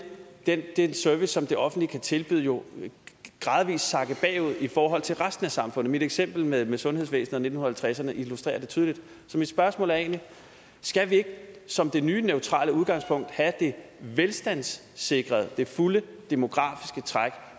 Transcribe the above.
den service som det offentlige kan tilbyde jo gradvis sakke bagud i forhold til resten af samfundet mit eksempel med med sundhedsvæsenet og nitten halvtredserne illustrerer det tydeligt så mit spørgsmål er egentlig skal vi ikke som det nye neutrale udgangspunkt have det velstandssikrede det fulde demografiske træk